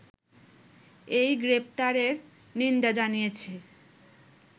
এই গ্রেপ্তারের নিন্দা জানিয়েছে